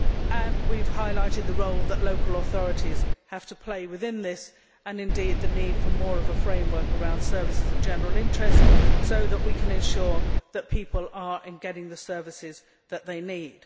And we have highlighted the role that local authorities have to play within this and indeed the need for more of a framework around services of general interest so that we can ensure that people are getting the services that they need.